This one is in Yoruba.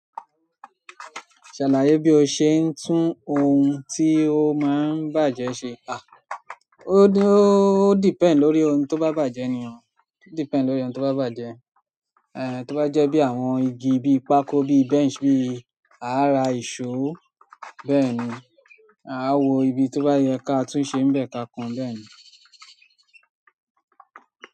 Ṣàlàyé bí o ṣe ń tún ohun tí ó máa ń bàjẹ́ ṣe. À, ó d-ó depend lórí ohun tó bá bàjẹ́ ni. Ó depend lórí ohun tó bá bàjẹ́. Eh, tó bá jẹ́ bí àwọn igi, bí pákó, bí bench, bí àrà, ìṣó, bẹ́ẹ̀ ni. A ó wo ibi tó bá yẹ ká tún ṣe ń bẹ̀ ká kan bẹ́ẹ̀ ni.